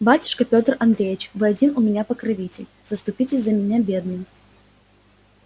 батюшка пётр андреич вы один у меня покровитель заступитесь за меня бедную